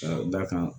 Ka d'a kan